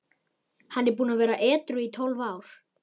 Hann er búinn að vera edrú í tólf ár.